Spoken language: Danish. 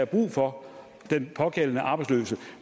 brug for den pågældende arbejdsløse